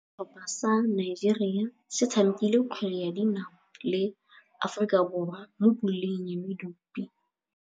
Setlhopha sa Nigeria se tshamekile kgwele ya dinaô le Aforika Borwa mo puleng ya medupe.